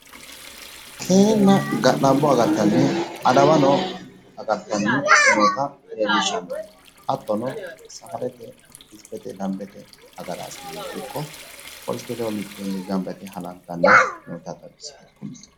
keeruna ga'labbo agartanno adawano agartanno mannota leellishano. hattono safarete hizibete dambete agaraasine ikko polisete ledo mitteenni halantanni noota xawissanno.